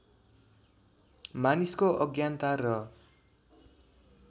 मानिसको अज्ञानता र